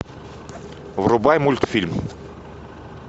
врубай мультфильм